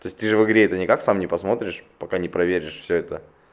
то есть ты же в игре это никак сам не посмотришь пока не проверишь все это